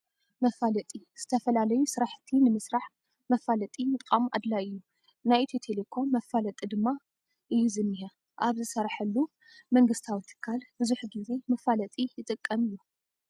መፋለጢ፦ ዝተፈላለዩ ስራሕቲ ንምስራሕ መፋለጢ ምጥቃም አድላይ እዩ። ናይ ኢትዮቴኮም መፋለጢ ድማ እዩ ዝኒሀ። ኣብ ዝሰረሐሉ መንግስታዊ ትካል ብዙሕ ግዜ መፋለጢ ይጥቀም እዩ።